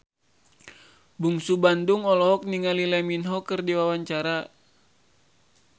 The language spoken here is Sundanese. Bungsu Bandung olohok ningali Lee Min Ho keur diwawancara